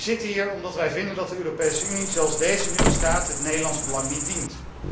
Wij zitten hier omdat wij vinden dat de Europese Unie zoals deze nu bestaat het Nederlands belang niet dient.